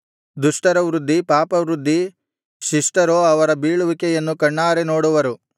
ದುಷ್ಟರ ವೃದ್ಧಿ ಪಾಪವೃದ್ಧಿ ಶಿಷ್ಟರೋ ಅವರ ಬೀಳುವಿಕೆಯನ್ನು ಕಣ್ಣಾರೆ ನೋಡುವರು